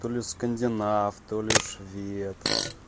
то-ли скандинав то-ли швед